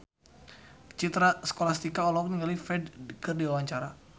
Citra Scholastika olohok ningali Ferdge keur diwawancara